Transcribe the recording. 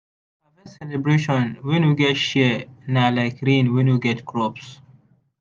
harvest celebration wey no get share na like rain wey no get crops.